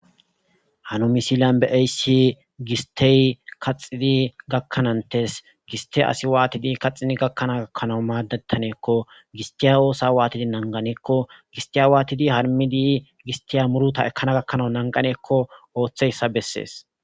hano misilan be eysi gistey kaxidi gakkanantes giste asi waatidi kaxxidi gakkanaa gakkanawu maaddettaneekko gistiya oosa waatidi nanqaneekko gistiya waatidi harmidi gistiya muruta ekkana gakkanawu nanqaneekko ooththeyssa bessees